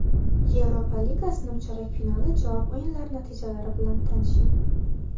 Yevropa Ligasi nimchorak finali javob o‘yinlari natijalari bilan tanishing.